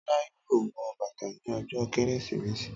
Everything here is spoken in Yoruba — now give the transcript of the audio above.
Tọ́lá yóò wọ bàtà ní ọjọ́ Kérésìmesì